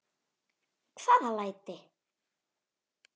Hvaða læti?